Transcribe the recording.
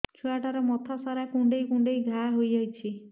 ଛୁଆଟାର ମଥା ସାରା କୁଂଡେଇ କୁଂଡେଇ ଘାଆ ହୋଇ ଯାଇଛି